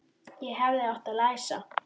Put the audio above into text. Ég hefði átt að læsa.